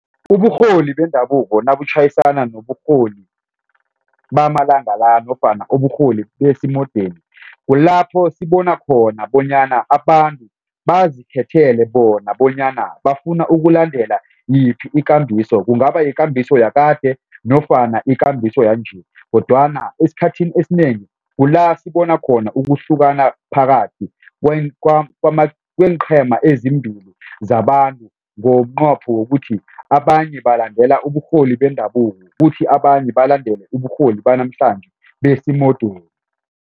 Uburholi bendabuko nabutjhayisana noburholi bamalanga la nofana uburholi besimodeni kulapho sibona khona bonyana abantu bazikhethele bona bonyana bafuna ukulandela yiphi ikambiso kungaba yikambiso yakade nofana ikambiso yanje kodwana esikhathini esinengi kula sibona khona ukuhlukana phakathi kweenqhema ezimbili zabantu ngomnqopho wokuthi abanye balandela uburholi bendabuko kuthi abanye balandele uburholi banamhlanje besimodeni.